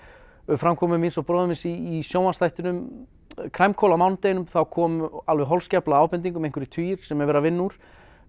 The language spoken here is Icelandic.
framkomu í sjónvarpsþættinum Crimecall á mánudeginum þá kom alveg holskefla af ábendingum einhverjir tugir sem er verið að vinna úr